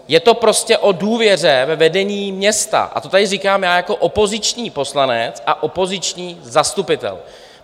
Je to prostě o důvěře ve vedení města, a to tady říkám já jako opoziční poslanec a opoziční zastupitel.